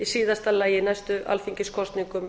í síðasta lagi í næstu alþingiskosningum